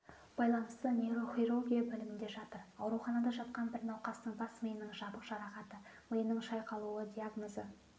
байланысты нейрохирургия бөлімінде жатыр ауруханада жатқан бір науқастың бас миының жабық жарақаты миының шайқалуы диагнозы